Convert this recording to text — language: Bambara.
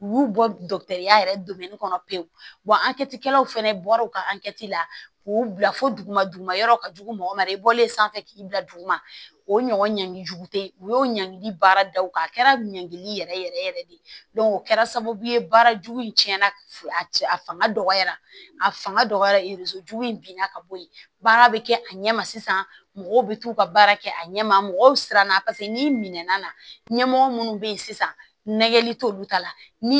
U y'u bɔya yɛrɛ kɔnɔ pewu ankɛtikɛlaw fɛnɛ bɔra u ka la k'u bila fo duguma duguma yɔrɔw ka jugu mɔgɔ ma i bɔlen sanfɛ k'i bila duguma o ɲɔgɔn ɲangi jugu te u y'o ɲɛgini baara daw kɛ a kɛra ɲangili yɛrɛ yɛrɛ yɛrɛ de ye o kɛra sababu ye baara jugu in cɛnna a cɛ a fanga dɔgɔyara a fanga dɔgɔyara jugu in binna ka bɔ ye baara bɛ kɛ a ɲɛma sisan mɔgɔw bɛ t'u ka baara kɛ a ɲɛ ma mɔgɔw siranna paseke n'i minɛna ɲɛmɔgɔ minnu bɛ yen sisan nɛgɛ t'olu ta la